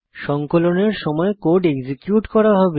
সংকলনের সময় code execute করা হবে